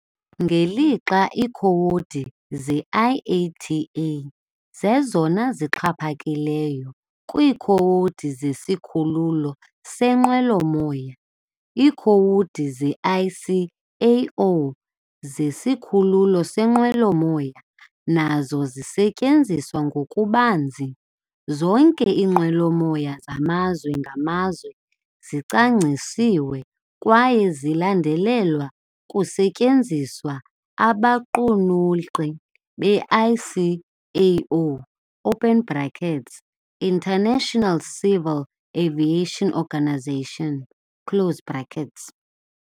Ngelixa iikhowudi ze-IATA zezona zixhaphakileyo kwiikhowudi zesikhululo seenqwelomoya, iikhowudi ze-ICAO zesikhululo seenqwelomoya nazo zisetyenziswa ngokubanzi. Zonke iinqwelomoya zamazwe ngamazwe zicwangcisiwe kwaye zilandelelwa kusetyenziswa abaqulunqi be-ICAO, open brackets International Civil Aviation Organisation close brackets.